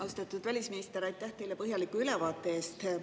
Austatud välisminister, aitäh teile põhjaliku ülevaate eest!